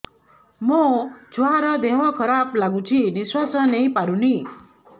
ମୋ ଛୁଆର ଦିହ ଖରାପ ଲାଗୁଚି ନିଃଶ୍ବାସ ନେଇ ପାରୁନି